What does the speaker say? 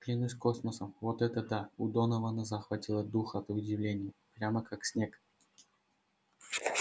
клянусь космосом вот это да у донована захватило дух от удивления прямо как снег